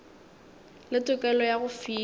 le tokelo ya go fiwa